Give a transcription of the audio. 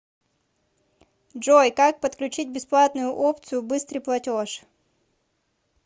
джой как подключить бесплатную опцию быстрый платеж